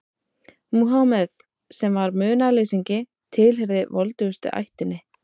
Múhameð, sem var munaðarleysingi, tilheyrði voldugustu ættinni.